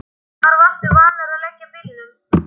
Hvar varstu vanur að leggja bílnum?